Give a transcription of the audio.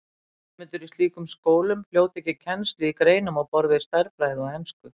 Nemendur í slíkum skólum hljóta ekki kennslu í greinum á borð við stærðfræði og ensku.